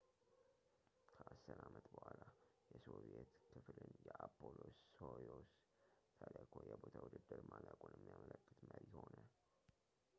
ከአስር ዓመት በኋላ የሶቪዬት ክፍልን የአፖሎ ሶዩዝ ተልዕኮ የቦታ ውድድር ማለቁን የሚያመለክት መሪ ሆነ